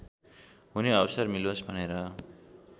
हुने अवसर मिलोस् भनेर